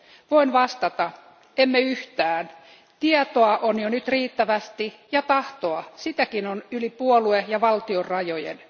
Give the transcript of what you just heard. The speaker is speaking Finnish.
Voin vastata emme yhtään. Tietoa on jo nyt riittävästi ja tahtoa, sitäkin on yli puolue ja valtionrajojen.